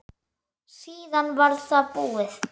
Síðan var það búið.